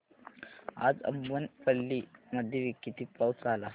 आज अब्बनपल्ली मध्ये किती पाऊस झाला